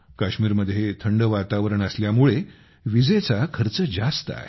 काश्मीरमध्ये थंड वातावरण असल्यामुळे विजेचा खर्च जास्त आहे